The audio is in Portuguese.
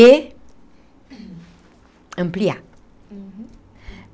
E ampliar. Uhum.